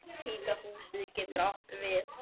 Hvíta húsið getur átt við